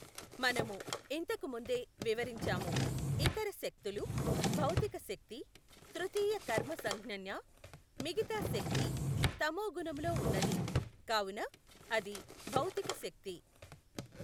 మనము ఇంతకు ముందే వివరించాము ఇతర శక్తులు, భౌతిక శక్తి తృతీయ కర్మ సంఙ్ఞన్య మిగతా శక్తి తమో గుణములో వున్నది కావున అది భౌతిక శక్తి.